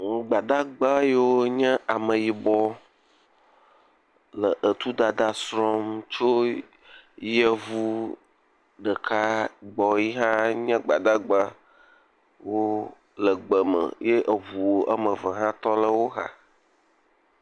Gbadadgba yiwo nye ameyibɔ le etudada srɔ̃m tso yevu ɖeka gbɔ yihã nye gbadagba. Wo le egbe me eye eŋu eme ve hã tɔ ɖe wo xa.